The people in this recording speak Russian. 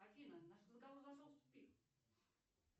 афина наш разговор зашел в тупик